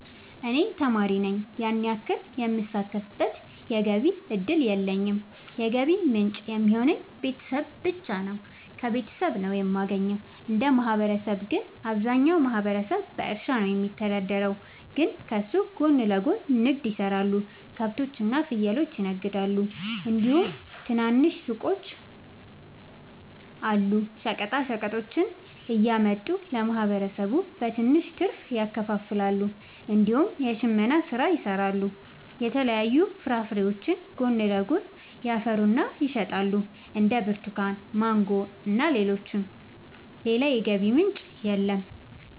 እኔ ተማሪ ነኝ ያን ያክል የምሳተፍበት የገቢ እድል የለኝም የገቢ ምንጭ የሚሆኑኝ ቤተሰብ ብቻ ነው። ከቤተሰብ ነው የማገኘው። እንደ ማህበረሰብ ግን አብዛኛው ማህበረሰብ በእርሻ ነው የሚተዳደር ግን ከሱ ጎን ለጎን ንግድ የሰራሉ ከብቶች እና ፍየሎችን ይነግዳሉ እንዲሁም ትናንሽ ሱቆች አሉ። ሸቀጦችን እያመጡ ለማህበረሰቡ በትንሽ ትርፍ ያከፋፍላሉ። እንዲሁም የሽመና ስራ ይሰራሉ የተለያዩ ፍራፍሬዎችንም ጎን ለጎን ያፈሩና ይሸጣሉ እንደ ብርቱካን ማንጎ እና ሌሎችም። ሌላ የገቢ ምንጭ የለም።